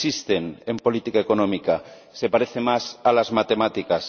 No existen en política económica, se parece más a las matemáticas.